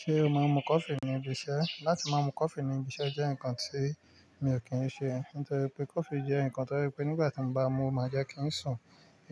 Ṣé o mọ mú coffee ní ibi iṣẹ́? Látí mú coffee ní ibi iṣẹ́ jẹ́ nnkan tí mi ò kí n ṣe, nítorí pé coffee jẹ́ nnkan tó rẹ pé nígbà tí mo bá mú, omáa jẹ́ kí n sùn.